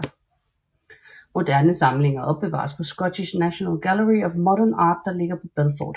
Moderne samlinger opbevares på Scottish National Gallery of Modern Art der ligger på Belford